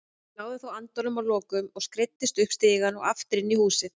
Ég náði þó andanum að lokum og skreiddist upp stigann og aftur inn í húsið.